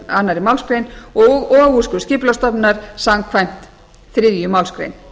annarri málsgrein og úrskurð skipulagsstofnunar samkvæmt þriðju málsgrein